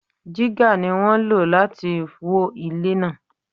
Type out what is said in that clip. Jígà ni wón lò láti wó ilẹ̀ náà.